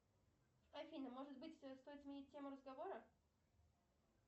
афина может быть стоит сменить тему разговора